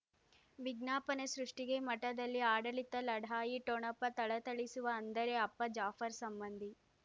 ವಿಜ್ಞಾಪನೆ ಸೃಷ್ಟಿಗೆ ಮಠದಲ್ಲಿ ಆಡಳಿತ ಲಢಾಯಿ ಠೊಣಪ ಥಳಥಳಿಸುವ ಅಂದರೆ ಅಪ್ಪ ಜಾಫರ್ ಸಂಬಂಧಿ